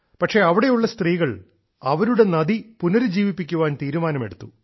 പക്ഷേ അവിടെയുള്ള സ്ത്രീകൾ അവരുടെ നദി പുനരുജ്ജീവിപ്പിക്കാൻ തീരുമാനമെടുത്തു